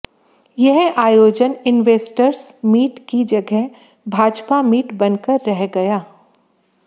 यह आयोजन investors meet की जगह भाजपा मीट बनकर रह गया